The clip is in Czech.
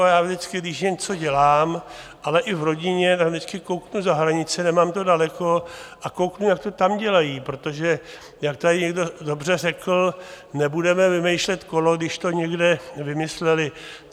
A já vždycky když něco dělám, ale i v rodině, tak vždycky kouknu za hranice, nemám to daleko, a kouknu, jak to tam dělají, protože jak tady někdo dobře řekl, nebudeme vymýšlet kolo, když to někde vymysleli.